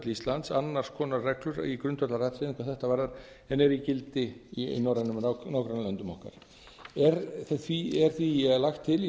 íslands annars konar reglur í grundvallaratriðum hvað þetta varðar en eru í gildi í norrænum nágrannalöndum okkar er því lagt til í